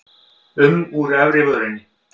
um úr efri vörinni.